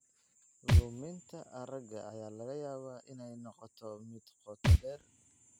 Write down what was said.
Luminta aragga ayaa laga yaabaa inay noqoto mid qoto dheer.